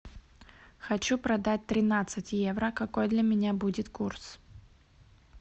хочу продать тринадцать евро какой для меня будет курс